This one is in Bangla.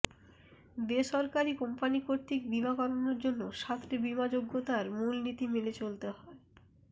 বেসরকারী কোম্পানী কর্তৃক বীমা করানোর জন্য সাতটি বীমাযোগ্যতার মূলনীতি মেনে চলতে হয়ঃ